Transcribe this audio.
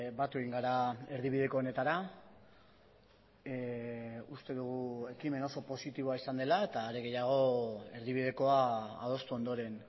batu egin gara erdibideko honetara uste dugu ekimen oso positiboa izan dela eta are gehiago erdibidekoa adostu ondoren